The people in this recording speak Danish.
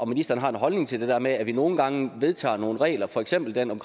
ministeren har en holdning til det der med at vi nogle gange vedtager nogle regler for eksempel den om